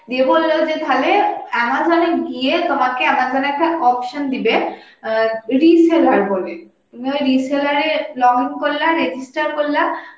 দিয়ে বলল তালে Amazon এ গিয়ে তোমাকে Amazon এ একটা option দিবে অ্যাঁ reseller বলে, তুমি ওই reseller এ login করলা register করলা